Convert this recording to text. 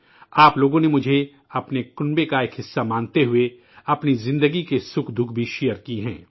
آپ لوگوں نے مجھے اپنے خاندان کا حصہ مانتے ہوئے اپنی زندگی کے سکھ دکھ بھی ساجھا کئے ہیں